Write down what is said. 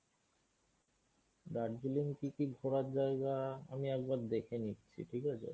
দার্জিলিং কী কী ঘোরার জায়গা আমি একবার দেখে নিচ্ছি ঠিক আছে?